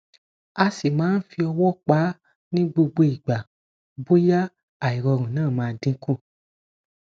a si man fi owo pa ni gbogbo igba boya airorun na ma dinku